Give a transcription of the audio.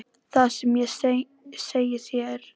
Það sem ég segi þér er aðeins endurómur þess.